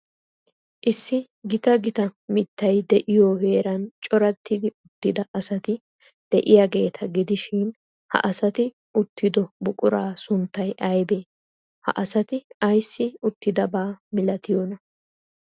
Issi gita gita mittay de'iyoo heeran corattidi uttida asati de'iyaageeta gidishin, ha asati uttido buquraa sunttay aybee? Ha asati ayssi uttidabaa malatiyoonaa?